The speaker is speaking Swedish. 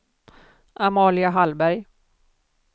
Amalia Hallberg